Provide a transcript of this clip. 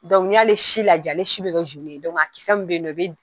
Dɔnku n'i y'ale si la ja, ale si bɛ ka dɔnki a kisɛ bɛ yen nɔ bɛ